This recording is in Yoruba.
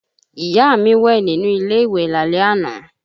Ìyá mi wẹ̀ nínú ilé ìwẹ̀ lálẹ́ àná